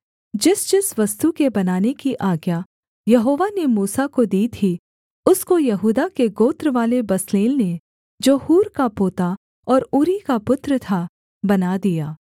जिसजिस वस्तु के बनाने की आज्ञा यहोवा ने मूसा को दी थी उसको यहूदा के गोत्रवाले बसलेल ने जो हूर का पोता और ऊरी का पुत्र था बना दिया